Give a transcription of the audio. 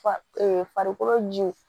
Fa ee farikolo jiw